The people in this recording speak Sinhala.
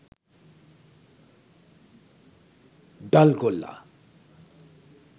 dul golla